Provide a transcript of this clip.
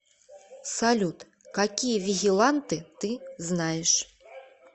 салют какие вигиланты ты знаешь